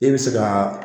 E bɛ se ka